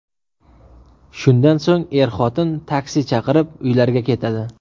Shundan so‘ng er-xotin taksi chaqirib, uylariga ketadi.